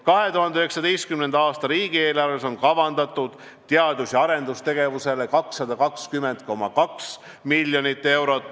2019. aasta riigieelarves on kavandatud teadus- ja arendustegevusele 220,2 miljonit eurot.